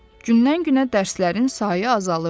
Gündən-günə dərslərin sayı azalırdı.